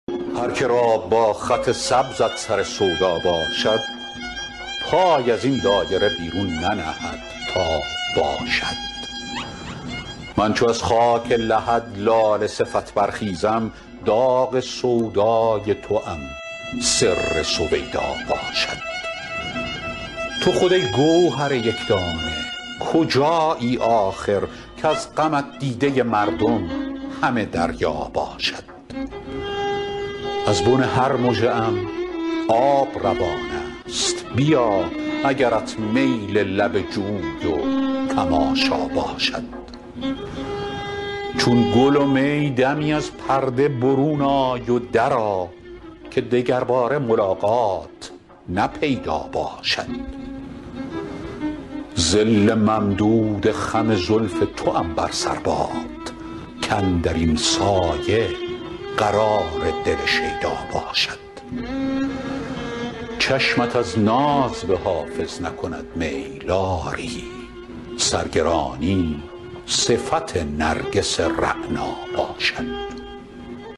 هر که را با خط سبزت سر سودا باشد پای از این دایره بیرون ننهد تا باشد من چو از خاک لحد لاله صفت برخیزم داغ سودای توام سر سویدا باشد تو خود ای گوهر یک دانه کجایی آخر کز غمت دیده مردم همه دریا باشد از بن هر مژه ام آب روان است بیا اگرت میل لب جوی و تماشا باشد چون گل و می دمی از پرده برون آی و درآ که دگرباره ملاقات نه پیدا باشد ظل ممدود خم زلف توام بر سر باد کاندر این سایه قرار دل شیدا باشد چشمت از ناز به حافظ نکند میل آری سرگرانی صفت نرگس رعنا باشد